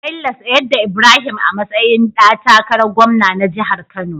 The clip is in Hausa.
Bello tsayar da Ibrahim a matsayin da takarar gwamna na jahar kano